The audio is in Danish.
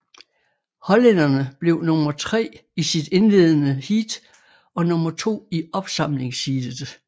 Hollænderne blev nummer tre i sit indledende heat og nummer to i opsamlingsheatet